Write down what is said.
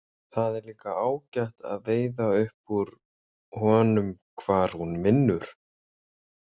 Það er líka ágætt að veiða upp úr honum hvar hún vinnur.